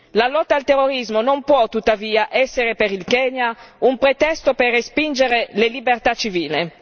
La lotta al terrorismo non può tuttavia essere per il Kenya un pretesto per respingere le libertà civili.